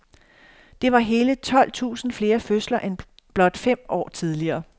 Det var hele tolv tusind flere fødsler end blot fem år tidligere.